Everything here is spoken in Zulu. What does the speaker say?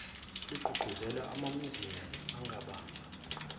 ligqugquzelwe amamnyuziyemu angabamba